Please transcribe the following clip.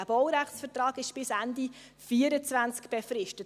Dieser Baurechtsvertrag ist bis Ende 2024 befristet.